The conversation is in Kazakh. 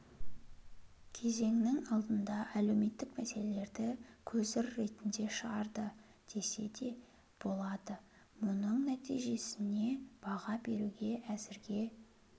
кезеңнің алдында әлеуметтік мәселелерді көзір ретінде шығарды десе де болады мұның нәтижесіне баға беруге әзірге